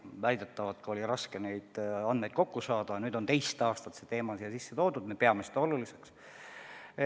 Väidetavalt oli raske neid andmeid kokku saada, nüüd on teist aastat see teema sisse toodud, me peame seda oluliseks.